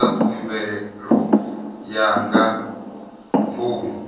dza khumbelo ya nga ngomu